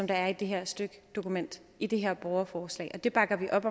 er i det her dokument i det her borgerforslag det bakker vi op